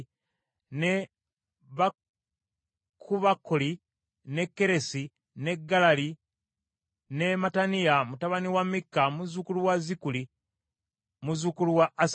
ne Bakubakkali, ne Keresi, ne Galali ne Mattaniya mutabani wa Mikka, muzzukulu wa Zikuli, muzzukulu wa Asafu,